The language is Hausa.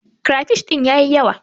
Krafish din ya yi yawa.